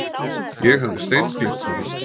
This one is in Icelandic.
Ég hafði steingleymt honum.